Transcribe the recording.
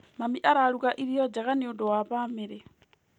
Mami araruga irio njega nĩ ũndũ wa bamĩrĩ.